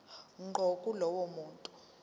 ngqo kulowo muntu